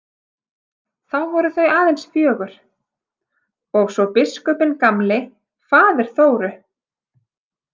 Þá voru þau aðeins fjögur og svo biskupinn gamli, faðir Þóru.